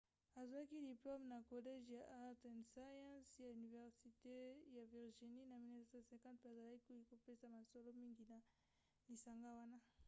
azwaki diplome na college ya arts & sciences ya université ya virginie na 1950 pe azalaki kopesa mosolo mingi na lisanga wana